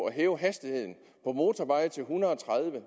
at hæve hastigheden på motorveje til en hundrede